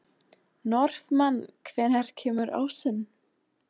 Norðmann, hvenær kemur ásinn?